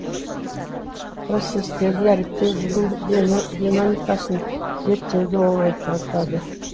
процесстерді дәріптеу жылу динамикасын зерттеуді оңайжатады